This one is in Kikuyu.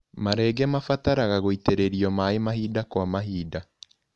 Marenge mabataraga gũitĩrĩrio maĩ mahinda kwa mahinda.